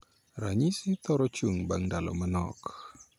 Ranyisigi thoro chung bang' ndalo manok